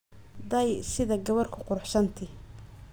Dayi, Sidhaa Gawar kuruxsan thy.